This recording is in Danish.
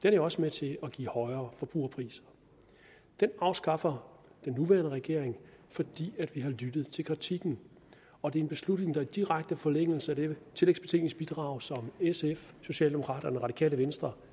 er jo også med til at give højere forbrugerpriser den afskaffer den nuværende regering fordi vi har lyttet til kritikken og det er en beslutning der ligger i direkte forlængelse af det tillægsbetænkningsbidrag som sf socialdemokraterne og radikale venstre